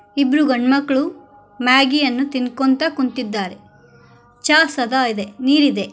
ಇಬ್ಬರು ಗಂಡ್ ಮಕ್ಕಳು ಮ್ಯಾಗಿಯನ್ನು ತಿನ್ಕೋಂತಾ ಕುಂತಿದ್ದಾರೆ ಚಾ ಸಹ ಇದೆ ನೀರೆದೆ.